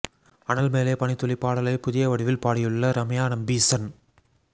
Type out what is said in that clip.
அனல் மேலே பனித்துளி பாடலை புதிய வடிவில் பாடியுள்ள ரம்யா நம்பீசன்